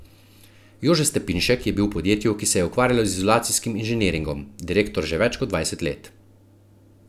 Jože Stepinšek je bil v podjetju, ki se je ukvarjalo z izolacijskim inženiringom, direktor že več kot dvajset let.